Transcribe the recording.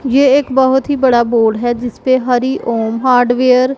ये एक बहोत ही बड़ा बोर्ड है जिस पे हरि ओम हार्डवेयर --